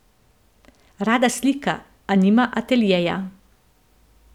Rada slika, a nima ateljeja.